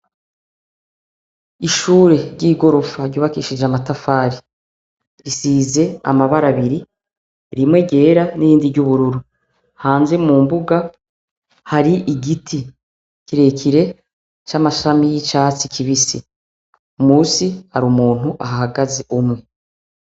Ishure ry'igorofa ryubakishije amatafari, risize amabara abiri, rimwe ryera n'irindi ry'ubururu, hanze mu mbuga hari igiti kirekire c'amashami y'icatsi kibisi, musi hari umuntu ahahagaze umwe.